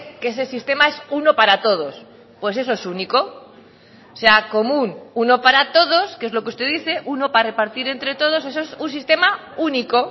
que ese sistema es uno para todos pues eso es único o sea común uno para todos que es lo que usted dice uno para repartir entre todos eso es un sistema único